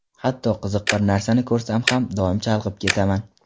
Hatto qiziq bir narsani ko‘rsam ham, doim chalg‘ib ketaman.